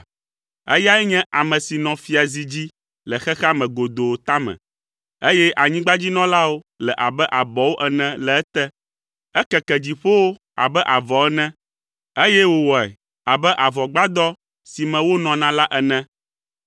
Eyae nye ame si nɔ fiazi dzi le xexea me godoo tame, eye anyigbadzinɔlawo le abe abɔwo ene le ete. Ekeke dziƒowo abe avɔ ene, eye wòwɔe abe avɔgbadɔ si me wonɔna la ene.